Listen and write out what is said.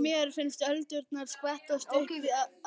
Mér finnst öldurnar skvettast upp